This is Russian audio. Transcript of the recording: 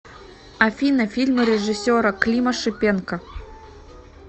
афина фильмы режиссера клима шипенко